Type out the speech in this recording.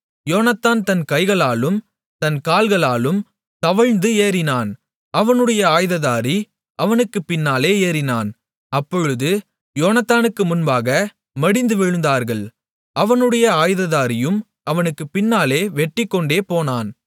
யோனத்தான் தன் கைகளாலும் தன் கால்களாலும் தவழ்ந்து ஏறினான் அவனுடைய ஆயுததாரி அவனுக்குப் பின்னாலே ஏறினான் அப்பொழுது அவர்கள் யோனத்தானுக்கு முன்பாக மடிந்து விழுந்தார்கள் அவனுடைய ஆயுததாரியும் அவனுக்குப் பின்னாலே வெட்டிக்கொண்டேபோனான்